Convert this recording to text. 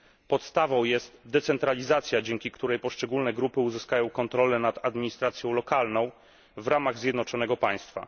Podstawą jest decentralizacja, dzięki której poszczególne grupy uzyskają kontrolę nad administracją lokalną w ramach zjednoczonego państwa.